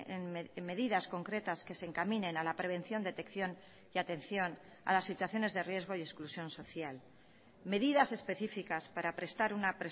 en medidas concretas que se encaminen a la prevención detección y atención a las situaciones de riesgo y exclusión social medidas específicas para prestar una